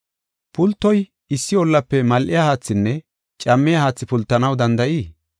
Pultoy issi ollafe mal7iya haathinne cammiya haathi pultanaw danda7ii?